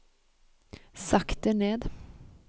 sakte ned